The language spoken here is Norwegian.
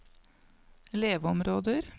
leveområder